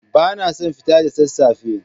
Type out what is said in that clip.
Ba na son fita da sassafe.